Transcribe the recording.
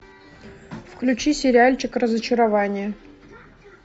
включи сериальчик разочарование